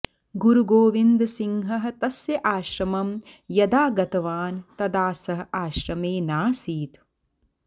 गुरुगोविन्दसिंहः तस्य आश्रमं यदा गतवान् तदा सः आश्रमे नासीत्